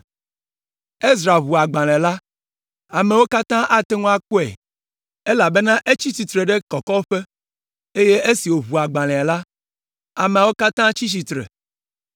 Ezra ʋu agbalẽ la. Amewo katã ate ŋu akpɔe, elabena etsi tsitre ɖe kɔkɔƒe, eye esi wòʋu agbalẽa la, ameawo katã tsi tsitre.